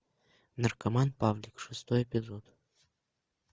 наркоман павлик шестой эпизод